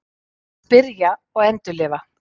Að spyrja og endurlifa